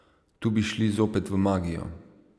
Tu bi šli zopet v magijo.